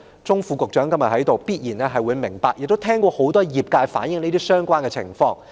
鍾副局長今天在席，我相信他一定明白，亦應聽過業界很多聲音反映相關情況。